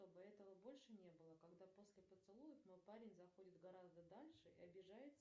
чтобы этого больше не было когда после поцелуев мой парень заходит гораздо дальше и обижается